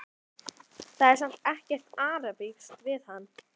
Það er samt ekkert arabískt við hann.